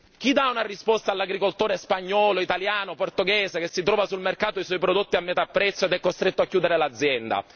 Chi dà una risposta all'agricoltore spagnolo, italiano o portoghese, che si trova sul mercato i suoi prodotti a metà prezzo ed è costretto a chiudere l'azienda?